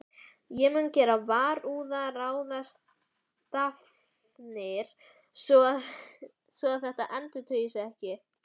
Ég mun gera varúðarráðstafanir svo að þetta endurtaki sig ekki.